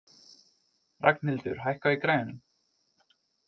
Ragnhildur, hækkaðu í græjunum.